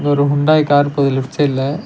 இது ஒரு Hyundai car போது லெஃப்ட் சைட்ல .